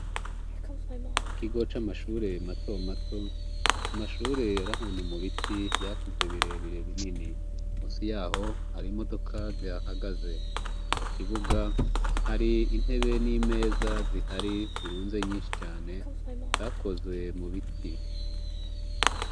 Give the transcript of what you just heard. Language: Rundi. Ikigo c'amashureye matomato amashure arahanu mu biti yakuze birebire bineni musi yaho hari imodoka zihahagaze mu kibuga hari intebe n'imeza zihari zirunze nyinshi cane zakozwe mu biti.